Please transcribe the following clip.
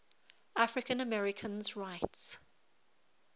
african americans rights